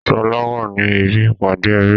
Sọlá wá ní ibi ìpàdé ẹbí